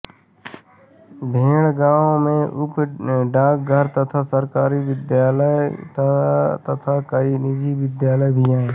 भेड़ गांव में उप डाकघर तथा सरकारी विद्यालय तथा कई निजी विद्यालय भी है